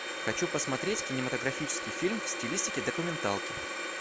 хочу посмотреть кинематографический фильм в стилистике документалки